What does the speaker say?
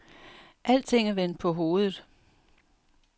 Alting er vendt på hovedet.